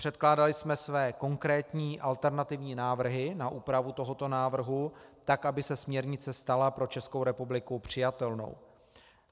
Předkládali jsme své konkrétní alternativní návrhy na úpravu tohoto návrhu tak, aby se směrnice stala pro Českou republiku přijatelnou.